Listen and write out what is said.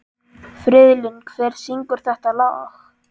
Friðlín, hver syngur þetta lag?